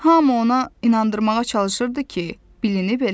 Hamı ona inandırmağa çalışırdı ki, bilinib eləmir.